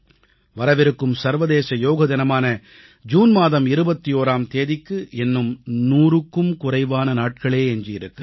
வரவிருக்கும் சர்வதேச யோக தினமான ஜூன் மாதம் 21ஆம் தேதிக்கு இன்னும் 100க்கும் குறைவான நாட்களே எஞ்சி இருக்கின்றன